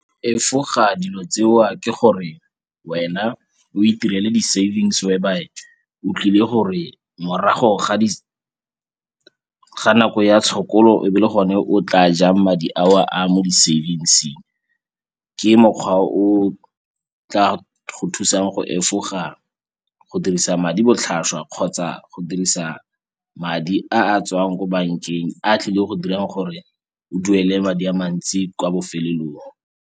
Efoga dilo tseo ke gore wena o itirele di-savings whereby o tlile gore morago ga nako ya tshokolo e be e le gone o tla jang madi ao a mo di-savings-eng. Ke mokgwa o tla go thusang go efoga go dirisa madi botlhaswa kgotsa go dirisa madi a a tswang ko bankeng a tlile go dirang gore o duele madi a mantsi kwa bofelelong.